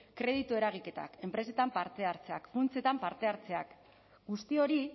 kreditu eragiketak enpresetan parte hartzeak funtsetan parte hartzeak guzti hori